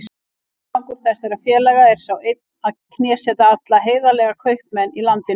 Tilgangur þessara félaga er sá einn að knésetja alla heiðarlega kaupmenn í landinu.